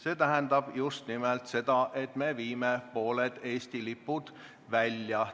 See tähendab just nimelt seda, et me viime pooled Eesti lipud välja.